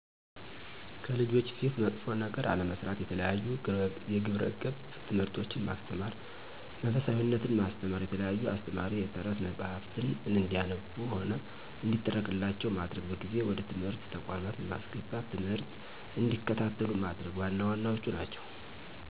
ከልጆች ፊት መጥፎ ነገር አለመስራት፣ የተለያዩ የግብረ ገብ ትምህርቶችን ማስተማር፣ መንፈሳዊነትን ማስተማ፣ የተለያዩ አስተማሪ የተረት መፀሀፍትን እንዲያነቡም ሆነ እንዲተረክላቸው ማድረግ፣ በጊዜ ወደ ትምህርት ተቋማት በማስገባት ትምህርት እንዲከታተሉ ማድረግ ዋና ዋናዎቹ ናቸው።